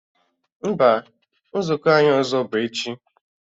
Mba, nzukọ anyị ọzọ bụ echi